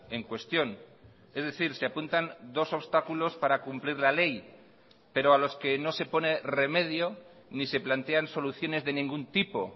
en cuestión es decir se apuntan dos obstáculos para cumplir la ley pero a los que no se pone remedio ni se plantean soluciones de ningún tipo